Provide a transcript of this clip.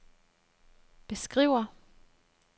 beskriver